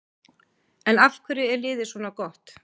En af hverju er liðið svona gott?